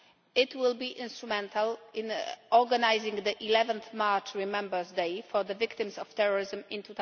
It will be instrumental in organising the 11 March Remembrance Day for the victims of terrorism in